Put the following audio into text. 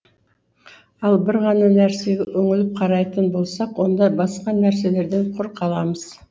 ал бір ғана нәрсеге үңіліп қарайтын болсақ онда басқа нәрселерден құр қаламыз